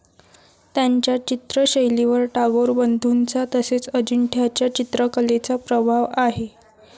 त्यांच्या चित्रशैलीवर टागोर बंधूंचा तसेच अजिंठ्याच्या चित्रकलेचा प्रभाव आहे.